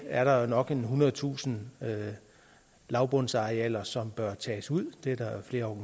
er der jo nok en ethundredetusind lavbundsarealer som bør tages ud det er der flere